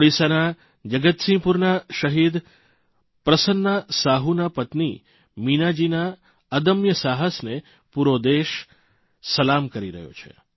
ઓડીસાના જગતસિંહપુરના શહીદ પ્રસન્ના સાહુના પત્ની મીનાજીના અદમ્ય સાહસને પૂરો દેશ સલામ કરી રહ્યો છે